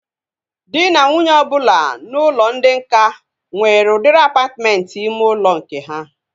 Dị na nwunye ọbụla n'ụlọ ndị nká nwere udiri apatmenti ime ụlọ nke ha